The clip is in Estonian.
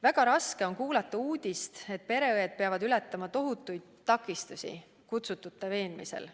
Väga raske on kuulata uudist, et pereõed peavad ületama tohutuid takistusi kutsutute veenmisel.